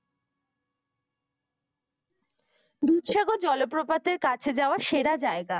দুধসাগর জলপ্রপাতের কাছে যাওয়ার সেরা জায়গা।